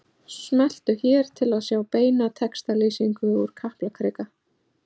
Smelltu hér til að sjá beina textalýsingu úr Kaplakrika